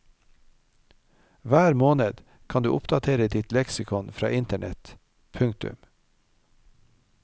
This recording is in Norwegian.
Hver måned kan du oppdatere ditt leksikon fra internett. punktum